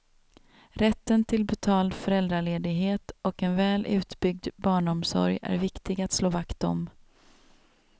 Rätten till betald föräldraledighet och en väl utbyggd barnomsorg är viktig att slå vakt om.